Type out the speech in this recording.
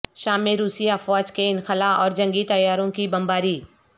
شام میں روسی افواج کے انخلا اور جنگی طیاروں کی بمباری